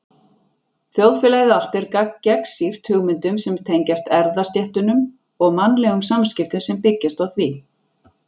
Þjóðfélagið allt er gagnsýrt hugmyndum sem tengjast erfðastéttunum og mannlegum samskiptum sem byggjast á því.